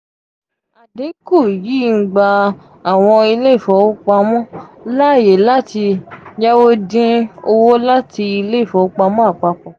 adinku yii n gba awọn ile ìfowòpamo laaye lati yawo din owo lati ile ìfowòpamo apapo.